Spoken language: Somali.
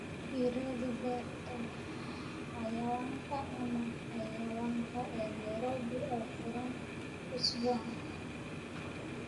ii raadi beerta xayawaanka ama xayawaanka ee nairobi oo furan usbuucan